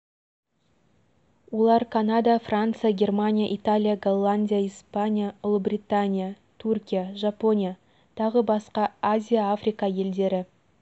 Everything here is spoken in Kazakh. батыстың да шығыстың да саясатына еліктемейтін иран мемлекеті үшінші жолды таңдап алған